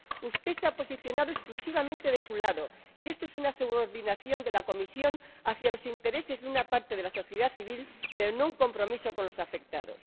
Usted se ha posicionado exclusivamente de su lado y esto es una subordinación de la Comisión a los intereses de una parte de la sociedad civil, pero no un compromiso con los afectados.